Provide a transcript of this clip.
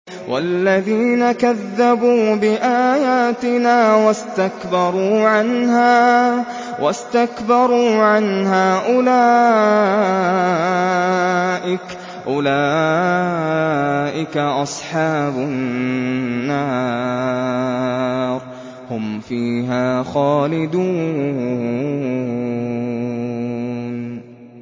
وَالَّذِينَ كَذَّبُوا بِآيَاتِنَا وَاسْتَكْبَرُوا عَنْهَا أُولَٰئِكَ أَصْحَابُ النَّارِ ۖ هُمْ فِيهَا خَالِدُونَ